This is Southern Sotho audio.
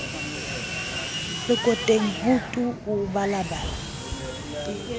lekoteng ho tu o balabala